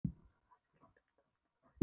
Svo datt allt í dúnalogn og þó ekki.